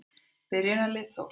Byrjunarlið Þórs.